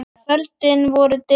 Kvöldin voru dimm og löng.